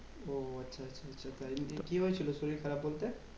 ও আচ্ছা আচ্ছা। তাই নিয়ে কি হয়ে ছিল শরীর খারাপ বলতে?